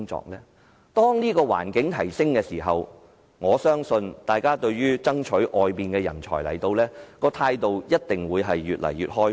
當這方面的環境有所改善時，我相信大家對於吸引海外人才來港的態度一定會越來越開放。